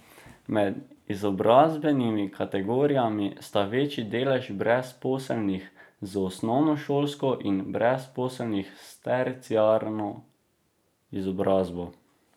Med izobrazbenimi kategorijami sta večja delež brezposelnih z osnovnošolsko in brezposelnih s terciarno izobrazbo.